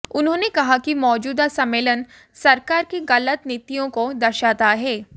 उन्होंने कहा कि मौजूदा सम्मेलन सरकार की गलत नीतियों को दर्शाता है